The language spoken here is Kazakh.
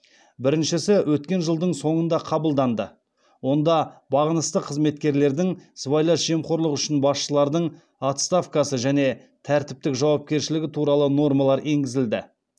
біріншісі өткен жылдың соңында қабылданды онда бағынысты қызметкерлердің сыбайлас жемқорлық үшін басшылардың отставкасы және тәртіптік жауапкершілігі туралы нормалар енгізілді